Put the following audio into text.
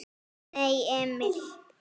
Nei, Emil!